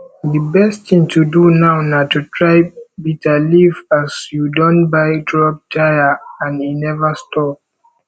the best thing to do now na to try bitterleaf as you don buy drug tire and e never stop